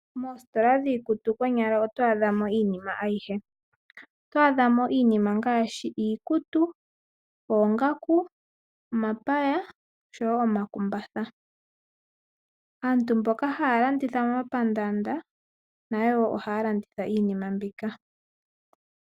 Moositola dhiikutu konyala oto adha mo iinima ayihe ,oto adha mo iinima ngaashi iikutu ,oongaku, omapaya osho wo omakumbatha. Aantu mboka haya landitha momapandanda nayo ohaya landitha iinima mbika.